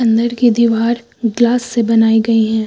अंदर की दीवार ग्लास से बनाई गई हैं।